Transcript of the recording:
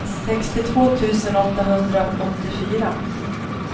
sextiotvå tusen åttahundraåttiofyra